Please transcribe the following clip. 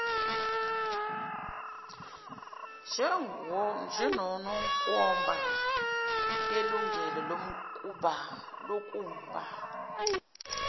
njwngwnkomba yelungelo lokumba